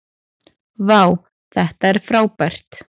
vá þetta er frábært